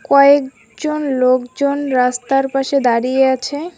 কয়েকজন লোকজন রাস্তার পাশে দাঁড়িয়ে আছে।